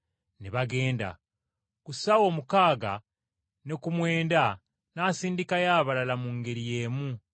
Ne bagenda. “Ku ssaawa omukaaga ne ku mwenda n’asindikayo abalala mu ngeri y’emu.